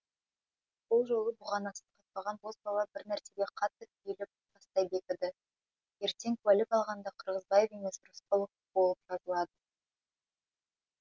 сол жолы бұғанасы қатпаған бозбала бір нәрсеге қатты түйіліп тастай бекіді ертең куәлік алғанда қырғызбаев емес рысқұлов болып жазылады